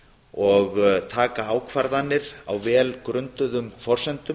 og taka ákvarðanir á vel grunduðum forsendum